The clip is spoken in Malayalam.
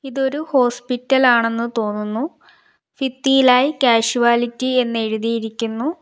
ഇതൊരു ഹോസ്പിറ്റൽ ആണെന്ന് തോന്നുന്നു ഫിത്തിയിലായി കാഷ്വാലിറ്റി എന്ന് എഴുതിയിരിക്കുന്നു.